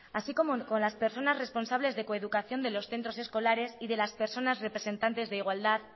así como con las personas responsables de coeducación de los centros escolares y de las personas representantes de igualdad